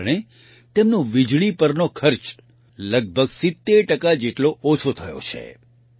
આ કારણે તેમનો વીજળી પરનો ખર્ચ લગભગ 70 ટકા જેટલો ઓછો થયો છે